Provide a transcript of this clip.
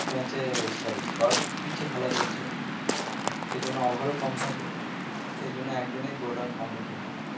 match এ sorry shot pitch এ খেলা চলছে সেজন্য over ও কম থাকে সেজন্য একদিনে পুরোটা complete হয়ে যায়